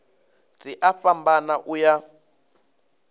dzi a fhambana u ya